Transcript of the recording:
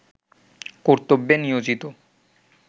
কর্তব্যে নিয়োজিত